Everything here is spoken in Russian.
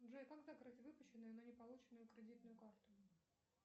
джой как закрыть выпущенную но не полученную кредитную карту